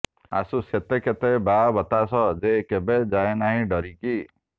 ଆସୁ ସତେ କେତେ ବାଆ ବତାସ ଯେ କେବେ ଯାଏ ନାହିଁ ଡରିକି